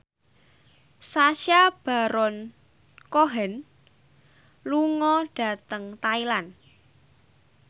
Sacha Baron Cohen lunga dhateng Thailand